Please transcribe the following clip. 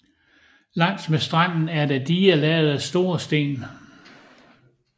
Langs med stranden er der diger lavet af store sten